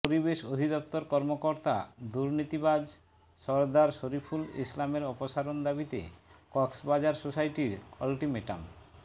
পরিবেশ অধিদপ্তর কর্মকর্তা দুর্নীতিবাজ সরদার শরিফুল ইসলামের অপসারণ দাবিতে কক্সবাজার সোসাইটির আল্টিমেটাম